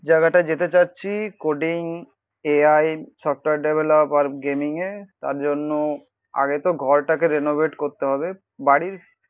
জায়গাটা যেতে চাচ্ছি কোডিং AI সফটওয়ার ডেভ্লপমেন্ট আর গেমিং এ. তার জন্য আগে তো ঘরটাকে রিনোভেট করতে হবে. বাড়ির